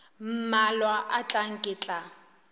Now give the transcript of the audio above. mmalwa a tlang ke tla